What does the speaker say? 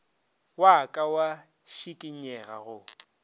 wa ka wa šikinyega go